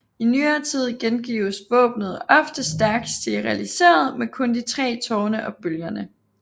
I nyere tid gengives våbenet ofte stærkt stilliseret med kun de tre tårne og bølgerne